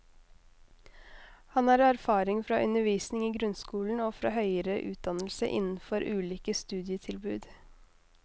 Han har erfaring fra undervisning i grunnskolen og fra høyere utdannelse innenfor ulike studietilbud.